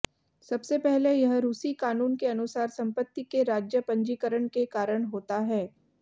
सबसे पहले यह रूसी कानून के अनुसार संपत्ति के राज्य पंजीकरण के कारण होता है